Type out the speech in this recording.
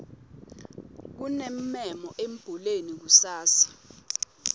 kunemmemo embuleni kusasa